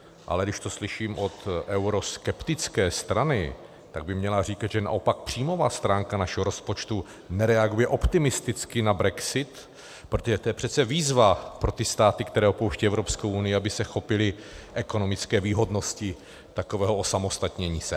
Ale když to slyším od euroskeptické strany, tak by měla říkat, že naopak příjmová stránka našeho rozpočtu nereaguje optimisticky na brexit, protože to je přece výzva pro ty státy, které opouštějí Evropskou unii, aby se chopily ekonomické výhodnosti takového osamostatnění se.